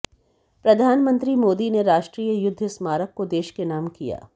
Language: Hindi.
प्रधानमंत्री मोदी ने राष्ट्रीय युद्ध स्मारक को देश के नाम किया